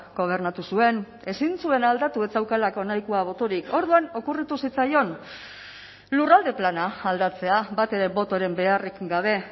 gobernatu zuen ezin zuen aldatu ez zeukalako nahikoa botorik orduan okurritu zitzaion lurralde plana aldatzea batere botoren beharrik gabe